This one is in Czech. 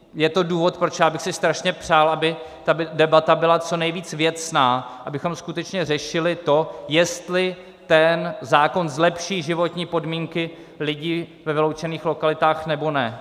Je to důvod, proč já bych si strašně přál, aby ta debata byla co nejvíce věcná, abychom skutečně řešili to, jestli ten zákon zlepší životní podmínky lidí ve vyloučených lokalitách, nebo ne.